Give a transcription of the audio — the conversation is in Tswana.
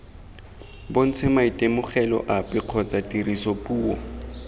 bontshe maitemogelo ape kgotsa tirisopuo